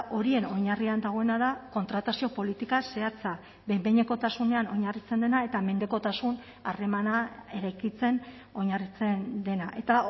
horien oinarrian dagoena da kontratazio politika zehatza behin behinekotasunean oinarritzen dena eta mendekotasun harremana eraikitzen oinarritzen dena eta